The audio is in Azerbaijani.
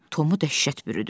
Tomu dəhşət bürüdü.